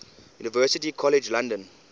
university college london